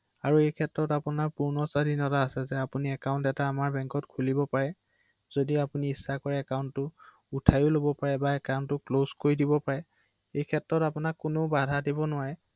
হয় হয় অ অ